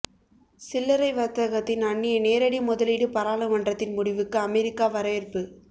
சில்லரை வர்த்தகத்தில் அன்னிய நேரடி முதலீடு பாராளுமன்றத்தின் முடிவுக்கு அமெரிக்கா வரவேற்பு